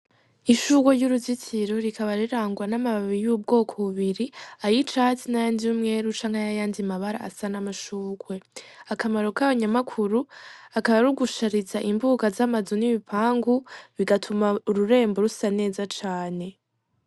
Ishurwe ry'uruzitiro rikaba rirangwa n'amababi y'ubwoko bubiri, ay'icatsi n'ayandi y'umweru canke ay'ayandi mabara asa n'amashurwe, akamaro kayo nyamukuru akaba ari ugushariza imbuga z'amazu n'ibipangu, bigatuma ururembo rusa neza cane.